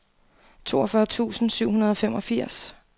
toogfyrre tusind syv hundrede og femogfirs